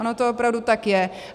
Ono to opravdu tak je.